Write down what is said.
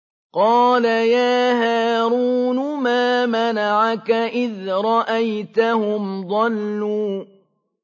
قَالَ يَا هَارُونُ مَا مَنَعَكَ إِذْ رَأَيْتَهُمْ ضَلُّوا